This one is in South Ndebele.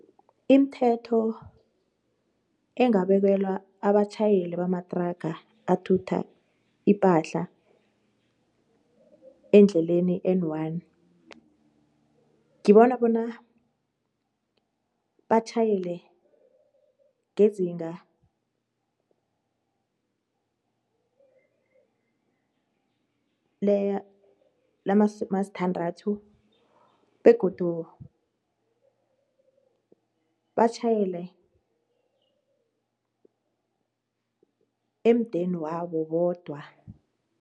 Imthetho engabekelwa abatjhayeli bamatraga athutha ipahla endleleni i-N one ngibona bona batjhayele ngezinga lamasumasthandathu begodu batjhayele emdeni wabo bodwa.